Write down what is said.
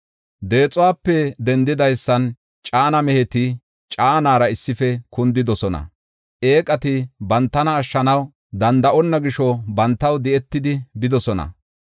Deexuwape dendidaysan caana meheti, caanara issife kundidosona. Eeqati bantana ashshanaw danda7onna gisho bantaw di7etidi bidosona.